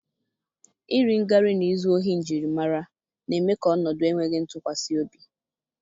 iri ngarị na izu ohi njirimara na-eme ka ọnọdụ enweghị ntụkwasị obi.